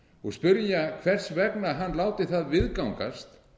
og spyrja hvers vegna hann láti það viðgangast